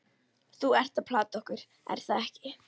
Þú ert að plata okkur, er það ekki?